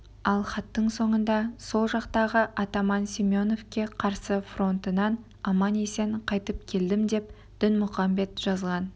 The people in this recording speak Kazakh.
ал хаттың соңында сол жақтағы атаман семеновке қарсы фронтынан аман-есен қайтып келдім деп дінмұқамбет жазған